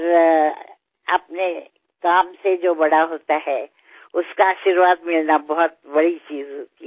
पण आपल्या कामामुळे जो मोठा होतो त्याचे आशीर्वाद मिळणे ही फार मोठी गोष्ट असते